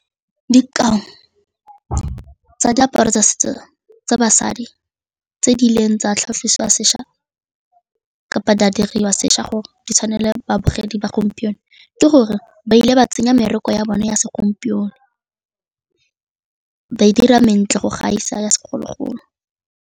Dikao tsa diaparo tsa setso tsa basadi tse di ileng tsa tlhagisiwa sešwa kapa di a diriwa sešwa gore di tshwane le babogedi ba gompieno ke gore ba ile ba tsenya mebereko ya bone ya segompieno ba e dira mentle go gaisa ya segologolo.